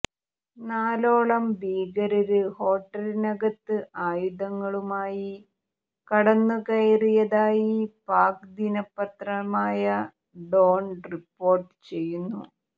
നാലോളം ഭീകരര് ഹോട്ടലിനകത്ത് ആയുധങ്ങളുമായി കടന്നുകയറിയതായി പാക് ദിനപത്രമായ ഡോണ് റിപ്പോര്ട്ട് ചെയ്യുന്നു